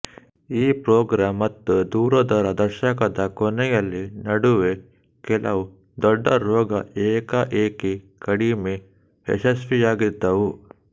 ಈ ಪ್ರೋಗ್ರಾಂ ಮತ್ತು ದೂರದ ರ ದಶಕದ ಕೊನೆಯಲ್ಲಿ ನಡುವೆ ಕೆಲವು ದೊಡ್ಡ ರೋಗ ಏಕಾಏಕಿ ಕಡಿಮೆ ಯಶಸ್ವಿಯಾಗಿದ್ದವು